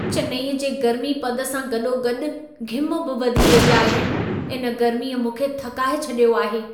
चेन्नई जे गर्मी पद सां गॾो गॾि घिम बि वधी रही आहे। इन गर्मीअ मूंखे थकाए छॾियो आहे।